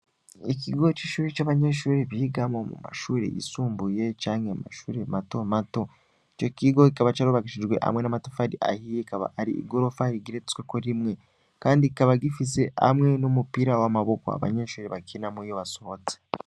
ikigo c'ishure abanyeshure bigamwo mumashure y'isumbuye canke amashure matomato icokigo kikaba curubakishiwe amatafari ahiye akaba arigorofa rigeretseko rimwe kandi kikaba gifise c'umupira w'amaboko abanyeshure bakinamwo iyo basohotse